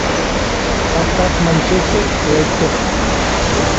поставь манчестер лестер